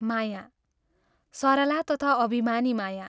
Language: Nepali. माया! सरला तथा अभिमानिनी माया!